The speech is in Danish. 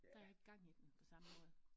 Der ikke gang i den på samme måde